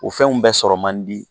O fɛnw bɛ sɔrɔ man di